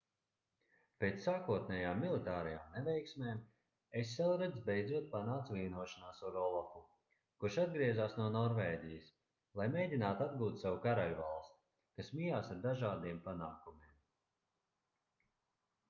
pēc sākotnējām militārajām neveiksmēm eselreds beidzot panāca vienošanos ar olafu kurš atgriezās no norvēģijas lai mēģinātu atgūt savu karaļvalsti kas mijās ar dažādiem panākumiem